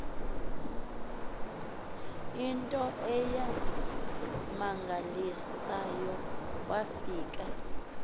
into eyammangalisayo wafika